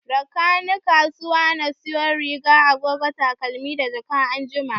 Rakani kasuwa na sayo riga, agogo, takalmi da jaka anjima